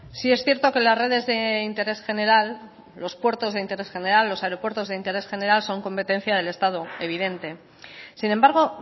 sí es cierto que las redes de interés general los puertos de interés general los aeropuertos de interés general son competencia del estado evidente sin embargo